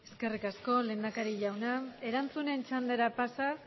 eskerrik asko lehendakari jauna erantzunen txandara pasaz